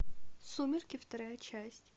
сумерки вторая часть